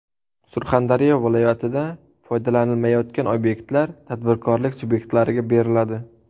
Surxondaryo viloyatida foydalanilmayotgan obyektlar tadbirkorlik subyektlariga beriladi.